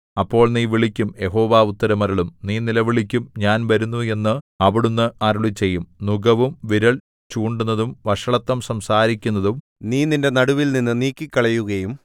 അപ്പോൾ നീ വിളിക്കും യഹോവ ഉത്തരം അരുളും നീ നിലവിളിക്കും ഞാൻ വരുന്നു എന്ന് അവിടുന്ന് അരുളിച്ചെയ്യും നുകവും വിരൽ ചൂണ്ടുന്നതും വഷളത്തം സംസാരിക്കുന്നതും നീ നിന്റെ നടുവിൽനിന്നു നീക്കിക്കളയുകയും